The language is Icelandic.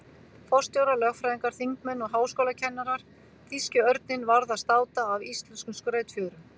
Forstjórar, lögfræðingar, þingmenn og háskólakennarar- þýski örninn varð að státa af íslenskum skrautfjöðrum.